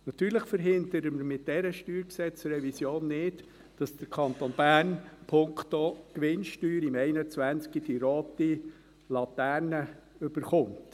Natürlich verhindern wir mit dieser StG-Revision nicht, dass der Kanton Bern punkto Gewinnsteuer im Jahr 2021 die rote Laterne bekommt.